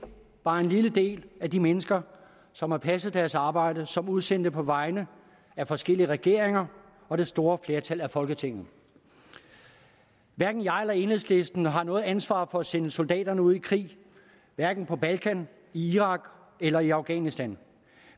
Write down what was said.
bare en lille del af de mennesker som har passet deres arbejde som udsendte på vegne af forskellige regeringer og det store flertal af folketinget hverken jeg eller enhedslisten har noget ansvar for at sende soldaterne ud i krig hverken på balkan i irak eller i afghanistan